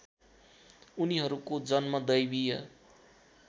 उनीहरूको जन्म दैवीय